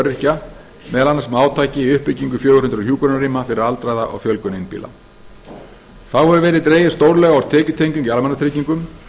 öryrkja meðal annars með átaki í uppbyggingu fjögur hundruð hjúkrunarrýma fyrir aldraða og fjölgun einbýla þá hefur verið dregið stórlega úr tekjutengingu í almannatryggingum